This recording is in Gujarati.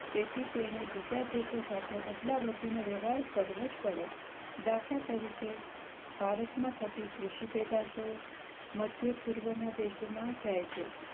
તેથી તેને બીજ દેશો સાથે અદલાબદલી નો વ્યવહાર કરવો જ પડે દાખલા તરીકે ભારત માં થતી કૃષિ પેદાશો મધ્ય પૂર્વ ના દેશો માં જાય છે